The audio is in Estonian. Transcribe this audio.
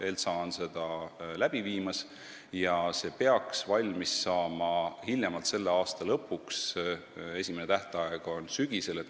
Uurimust teeb ELTSA ja see peaks valmis saama hiljemalt selle aasta lõpuks, esimene tähtaeg on sügisel.